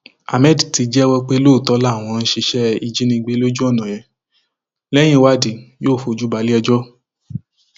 hammed ti jẹwọ pé lóòótọ làwọn ń ṣiṣẹ ìjínigbé lójú ọnà yẹn lẹyìn ìwádìí yóò fojú balẹẹjọ